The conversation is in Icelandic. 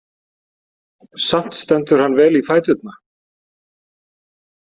Samt stendur hann vel í fæturna.